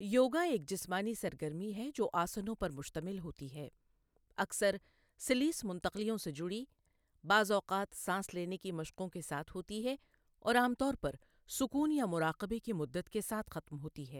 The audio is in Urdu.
یوگا ایک جسمانی سرگرمی ہے جو آسنوں پر مشتمل ہوتی ہے اکثر سلیس منتقلیوں سے جڑی، بعض اوقات سانس لینے کی مشقوں کے ساتھ ہوتی ہے اور عام طور پر سکون یا مراقبے کی مدت کے ساتھ ختم ہوتی ہے۔